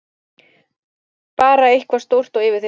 Bara eitthvað stórt og yfirþyrmandi.